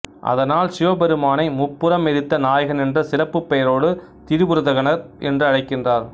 அதனால் சிவபெருமானை முப்புரம் எரித்த நாயகன் என்ற சிறப்புப் பெயரோடு திரிபுரதகனர் என்று அழைக்கின்றனர்